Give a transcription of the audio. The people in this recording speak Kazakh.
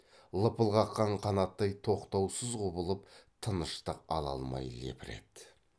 лыпыл қаққан қанаттай тоқтаусыз құбылып тыныштық ала алмай лепіреді